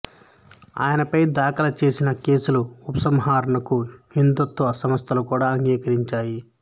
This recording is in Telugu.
ఆయనపై దాఖలుచేసిన కేసుల ఉపసంహరణకు హిందుత్వ సంస్థలు కూడా అంగీకరించాయి